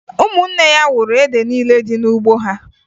Ụmụnne ya wuru ede niile dị n'ugbo ha